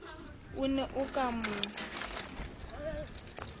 o ne o ka mo